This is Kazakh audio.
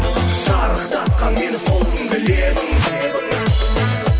шарықтатқан мені сол күнгі лебің лебің